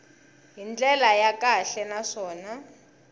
hi ndlela ya kahle naswona